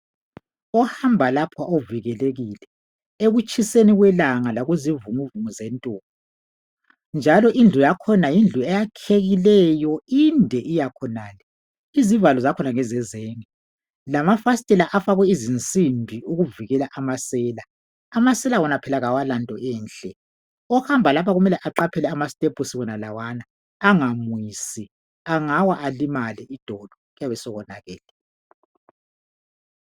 Ohamba lapha uvikelekile ekutshiseni kwelanga lakuzivunguvungu zentuli .Njalo indlu yakhona yindlu eyakhekileyo inde iya khonale . Izivalo zakhona ngezezenge lamafasitela afakwe izinsimbi ukuvikela amasela .Amasela wona phela kawalanto enhle. Ohamba lapha kumele aqaphele amastepusi wonalawana angamwisi .Angawa alimale idolo kuyabe sokonakele.